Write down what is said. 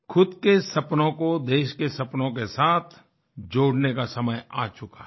ख़ुद के सपनों को देश के सपनों के साथ जोड़ने का समय आ चुका है